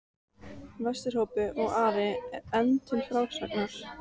Vesturhópi, og er Ari enn til frásagnar